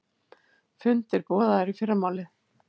Fundir boðaðir í fyrramálið